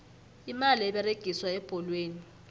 imali eberegiswa ebholweni